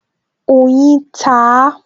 Oyin ta á